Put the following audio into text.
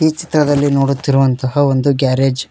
ಈ ಚಿತ್ರದಲ್ಲಿ ನೋಡುತ್ತಿರುವಂತಹ ಒಂದು ಗ್ಯಾರೇಜ್ --